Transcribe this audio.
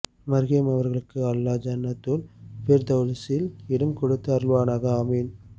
மர்ஹூம் அவர்களுக்கு அல்லா ஜன்னத்துல் பிர்தௌஸ் சில் இடம் கொடுத்து அருள்வானாக ஆமீன்